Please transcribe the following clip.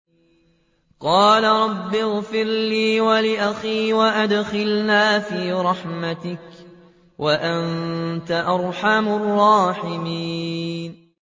قَالَ رَبِّ اغْفِرْ لِي وَلِأَخِي وَأَدْخِلْنَا فِي رَحْمَتِكَ ۖ وَأَنتَ أَرْحَمُ الرَّاحِمِينَ